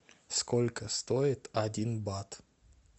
сколько стоит один бат